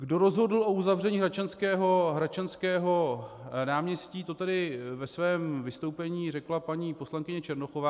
Kdo rozhodl o uzavření Hradčanského náměstí, to tady ve svém vystoupení řekla paní poslankyně Černochová.